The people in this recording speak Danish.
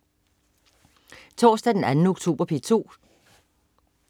Torsdag den 2. oktober - P2: